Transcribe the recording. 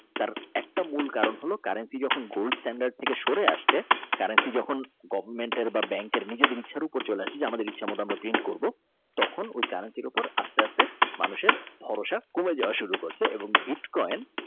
একটা মূল কারণ হলো currency সে যখন Gold Stand থেকে সরে আসছে currency যখন Government বা bank কের নিজেদের ইচ্ছার উপর চলে আসে আমাদের ইচ্ছামত আমরা Paint করব তখন ওই currency উপর আস্তে আস্তে মানুষের ভরসা কমে যাওয়া শুরু করছে এবং বিটকয়েন।